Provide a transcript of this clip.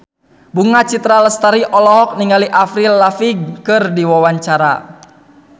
Bunga Citra Lestari olohok ningali Avril Lavigne keur diwawancara